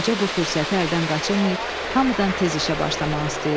Qoca bu fürsəti əldən qaçırmayıb, hamıdan tez işə başlamaq istəyirdi.